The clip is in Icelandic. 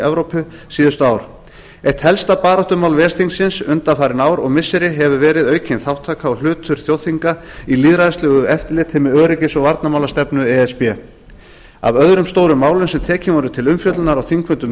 evrópu síðustu ár eitt helsta baráttumál ves þingsins undanfarin ár og missiri hefur verið aukin þátttaka og hlutur þjóðþinga í lýðræðislegu eftirliti með öryggis og varnarmálastefnu e s b af öðrum stórum málum sem tekin voru til umfjöllunar á þingfundum